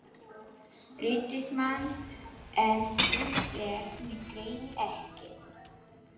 Ritsímans en hún þekkti mig greinilega ekki.